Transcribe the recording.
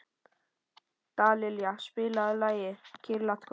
Dallilja, spilaðu lagið „Kyrrlátt kvöld“.